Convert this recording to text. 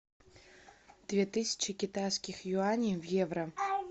две тысячи китайских юаней в евро